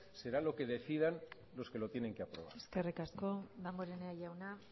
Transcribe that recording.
será lo que decidan los que lo tienen que hacer eskerrik asko damborenea jauna